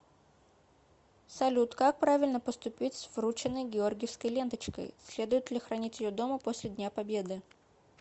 салют как правильно поступить с врученной георгиевской ленточкой следует ли хранить ее дома после дня победы